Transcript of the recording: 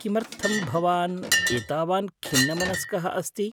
किमर्थं भवान् एतावान् खिन्नमनस्कः अस्ति?